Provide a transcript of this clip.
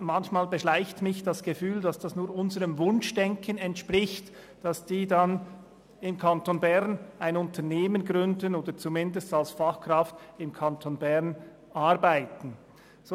Manchmal beschleicht mich das Gefühl, es entspreche nur unserem Wunschdenken, dass diese dann im Kanton Bern ein Unternehmen gründen oder zumindest als Fachkraft im Kanton Bern arbeiten würden.